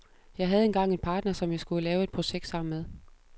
Jeg havde engang en partner, som jeg skulle lave et projekt sammen med.